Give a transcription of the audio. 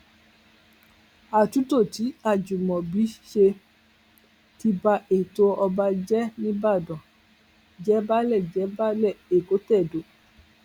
àtúntò tí ajimobi ṣe ti bá ètò ọba jíjẹ nìbàdàn jẹbàálé jẹbàálé èkótẹdó